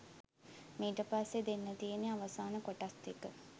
මීට පස්සේ දෙන්න තියෙන්නේ අවසාන කොටස් දෙක